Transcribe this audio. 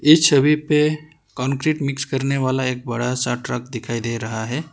इस छवि पे कंक्रीट मिक्स करने वाला एक बड़ा सा ट्रक दिखाई दे रहा है।